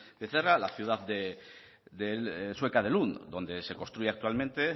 becerra la ciudad sueca de lund donde se construye actualmente